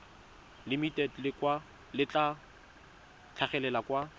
limited le tla tlhagelela kwa